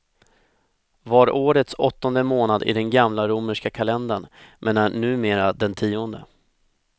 Var årets åttonde månad i den gamla romerska kalendern, men är numera den tionde.